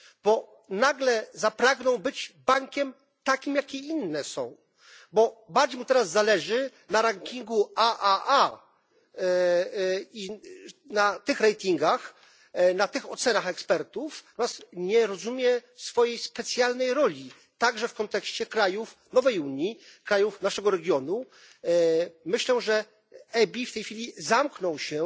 Bo nagle zapragnął być bankiem takim jak i inne, bo bardziej mu teraz zależy na rankingu AAA, na tych ratingach, na tych ocenach ekspertów, natomiast nie rozumie swojej specjalnej roli, także w kontekście krajów nowej Unii, krajów naszego regionu. Myślę, że EBI w tej chwili zamknął się